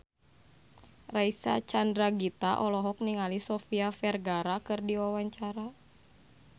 Reysa Chandragitta olohok ningali Sofia Vergara keur diwawancara